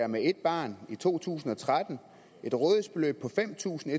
med et barn i to tusind og tretten et rådighedsbeløb på fem tusind